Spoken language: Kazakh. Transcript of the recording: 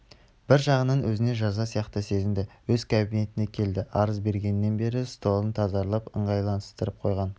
бір жағынан өзіне жаза сияқты сезінді өз кабинетіне келді арыз бергеннен бері столын тазартып ыңғайластырып қойған